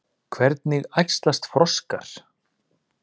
Hvernig æxlast froskar?